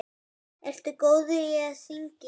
Ertu góður í að syngja?